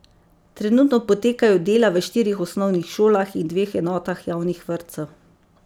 Trenutno potekajo dela v štirih osnovnih šolah in dveh enotah javnih vrtcev.